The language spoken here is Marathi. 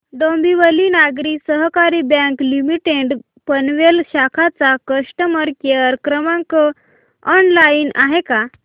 डोंबिवली नागरी सहकारी बँक लिमिटेड पनवेल शाखा चा कस्टमर केअर क्रमांक ऑनलाइन आहे का